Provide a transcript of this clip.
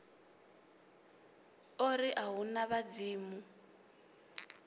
ori a hu na vhadzimu